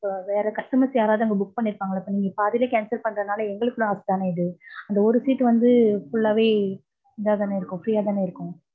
இப்ப வேற customers யாராவது அங்க book பண்ணிருப்பாங்கள்ள sir, நீங்க பாதிலேயே cancel பண்றனால எங்களுக்கு loss தான இது. அந்த ஒரு seat வந்து full ஆவே இதாதான ஆயிருக்கும். free ஆ தான ஆயிருக்கும்.